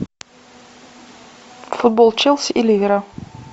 футбол челси и ливера